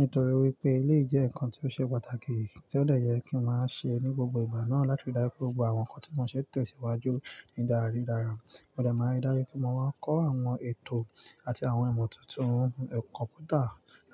Nítorí wípé eleyii jẹ́ ǹkan tí ó ṣe pàtàkì, tí ó de yẹ kí n máa ṣe ní gbogbo ìgbà náà láti ri dáju pe. Gbogbo àwọn ǹkan tí wọn ṣe n tesiwájú ní dára ni dára. Mo de máa ń dáju pe mọ máa kọ́ àwọn ètò àti àwọn ìmọ̀ tuntun kompútà,